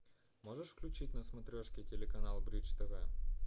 можешь включить на смотрешке телеканал бридж тв